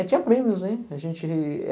tinha prêmios em. A gente